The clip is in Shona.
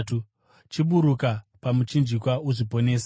chiburuka pamuchinjikwa uzviponese!”